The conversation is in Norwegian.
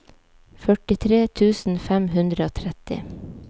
førtitre tusen fem hundre og tretti